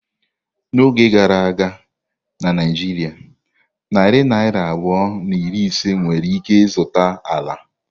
N'oge gara aga na Naijiria narị naira abụọ na iri ise nwere ike zụta ala.